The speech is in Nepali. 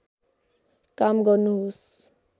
काम गर्नुहोस्